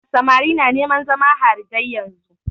Samari na neman zama harijai yanzun.